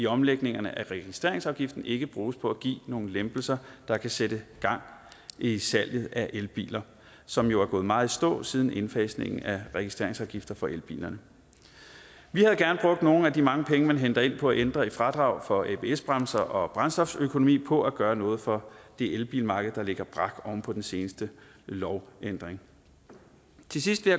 omlægningen af registreringsafgiften ikke bruges på at give nogle lempelser der kan sætte gang i salget af elbiler som jo er gået meget i stå siden indfasningen af registreringsafgifterne for elbilerne vi havde gerne brugt nogle af de mange penge man henter ind på at ændre i fradraget for abs bremser og brændstoføkonomi på at gøre noget for det elbilmarked der ligger brak oven på den seneste lovændring til sidst vil